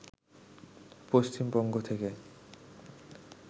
পশ্চিমবঙ্গ থেকে